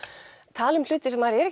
tala um hluti sem maður er